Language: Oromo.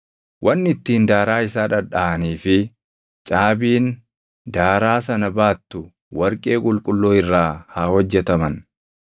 Wanni ittiin daaraa isaa dhadhaʼanii fi caabiin daaraa sana baattu warqee qulqulluu irraa haa hojjetaman.